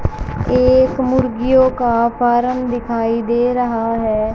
एक मुर्गियों का फॉर्म दिखाई दे रहा है।